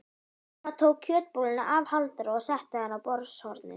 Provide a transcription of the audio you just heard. Amma tók kjötbolluna af Halldóri og setti hana á borðshornið.